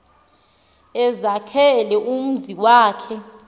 ezakhela umzi wakhe